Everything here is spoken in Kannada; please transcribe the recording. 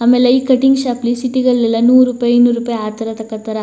ಆಮೇಲೆ ಈ ಕಟಿಂಗ್ ಶಾಪ್ ಲಿ ಸಿಟಿ ಗಳೆಲ್ಲ ನೂರು ರೂಪಾಯಿ ಇನ್ನೂರು ರೂಪಾಯಿ ಆ ತರ ತಕತಾರ.